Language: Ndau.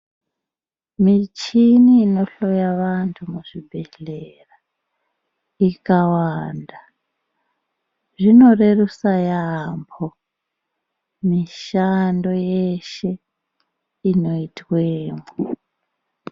Michini inohloya vantu muzvibhehlera ikawanda zvinorerusa yamho mushando yeshe inoitwemwo.